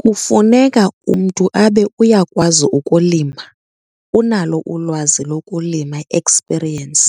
Kufuneka umntu abe uyakwazi ukulima, unalo ulwazi lokulima, i-experience.